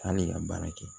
Hali i ka baara kɛ